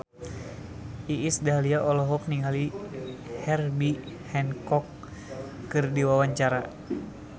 Iis Dahlia olohok ningali Herbie Hancock keur diwawancara